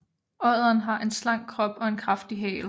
Odderen har en slank krop og en kraftig hale